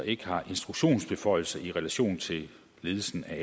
ikke har instruktionsbeføjelser i relation til ledelsen af